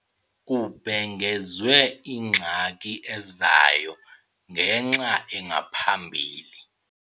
Kubhengezwe ingxaki ezayo ngenx' engaphambili.